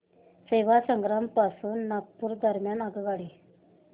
सेवाग्राम पासून नागपूर दरम्यान आगगाडी